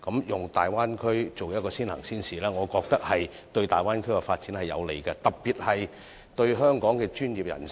以大灣區作為試點，我認為有利港人在大灣區發展，特別是香港的專業人士。